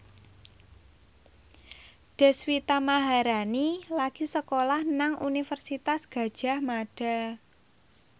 Deswita Maharani lagi sekolah nang Universitas Gadjah Mada